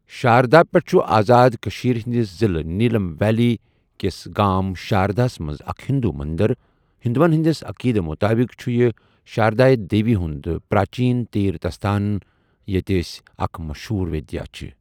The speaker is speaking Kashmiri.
شاردا پیٖٹھ چھُ آزاد کٔشِیر ہندِس ضِلہٕ نيٖلم ویلی کَیس گٲم شاردِہ مَنٛز اَکھ ہندو مندر ہندوَن ہنٔدؠس عقیدَس مُطٲبِق چھُ یہِ شاردایہِ دیوی ہُنٛد پراچین تیرتھستھان ییتہ أس اَکھ مَشہوٗر ودیا چِھ۔